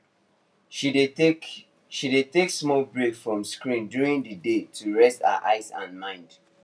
she dey take she dey take small break from screen during the day to rest her eye and mind